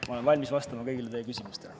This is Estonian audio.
Ma olen valmis vastama kõigile teie küsimustele.